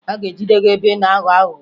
A ga-ejide gị ebe ị na-aghọ aghụghọ